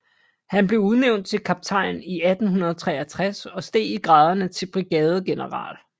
Han blev udnævnt til kaptajn i 1863 og steg i graderne til brigadegeneral